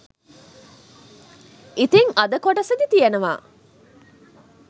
ඉතිං අද කොටසෙදි තියෙනවා